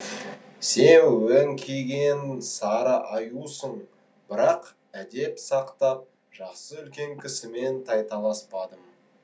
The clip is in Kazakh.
сен өңкиген сары аюсың бірақ әдеп сақтап жасы үлкен кісімен тайталаспадым